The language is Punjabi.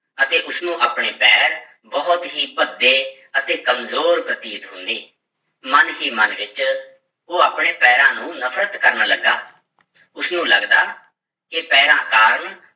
ਅਤੇ ਉਸਨੂੰ ਆਪਣੇ ਪੈਰ ਬਹੁਤ ਹੀ ਭੱਦੇ ਅਤੇ ਕੰਮਜ਼ੋਰ ਪ੍ਰਤੀਤ ਹੁੰਦੇ, ਮਨ ਹੀ ਮਨ ਵਿੱਚ ਉਹ ਆਪਣੇ ਪੈਰਾਂ ਨੂੰ ਨਫ਼ਰਤ ਕਰਨ ਲੱਗਾ, ਉਸਨੂੰ ਲੱਗਦਾ ਕਿ ਪੈਰਾਂ ਕਾਰਨ